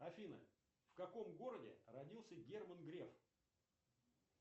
афина в каком городе родился герман греф